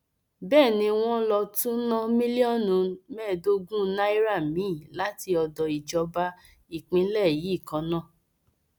bẹẹ ni wọn lọ tún ná mílíọnù mẹẹẹdọọgùn náírà míín láti odò ìjọba ìpínlẹ yìí kan náà